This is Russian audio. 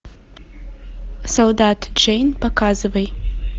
солдат джейн показывай